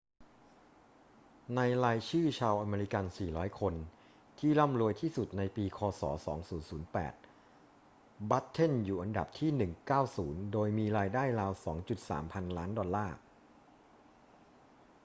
ในรายชื่อชาวอเมริกัน 400 คนที่ร่ำรวยที่สุดในปีค ศ. 2008 บัตเทนอยู่อันดับที่ 190 โดยมีรายได้ราว 2.3 พันล้านดอลลาร์